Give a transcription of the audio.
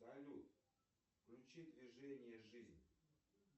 салют включи движение жизнь